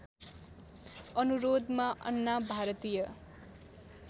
अनुरोधमा अन्ना भारतीय